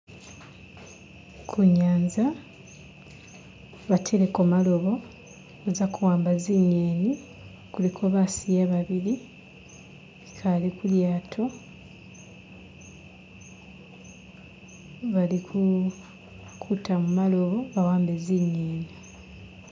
Kunyanza bateleko gamalobo baza kuwamba zinyeni kuliko basiya babili bikale kulyato balikutamo gamalobo bawambe zinyeni.